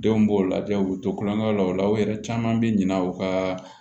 Denw b'o lajɛ u bɛ to kulonkɛ la o la u yɛrɛ caman bɛ ɲina u ka